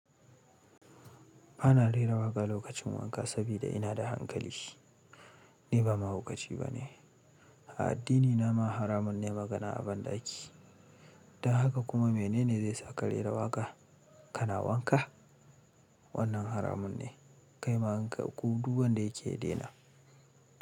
Ba na rera waƙa lokacin wanka sabida ina da hankali. Ni ba mahaukaci ba ne. A addinina ma haramun ne magana a banɗaki. Dan haka kuma mene ne zai sa ka rera waƙa, ka na wanka? Wannan haramun ne. Kai ma in ka, ko duk wanda yake ya daina.